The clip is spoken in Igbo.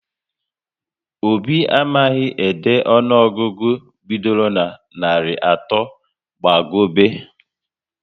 Obi amaghị ede ọnụọgụgụ bidoro na narị atọ gba gobe